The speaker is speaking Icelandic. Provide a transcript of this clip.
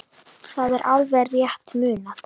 Það er alveg rétt munað.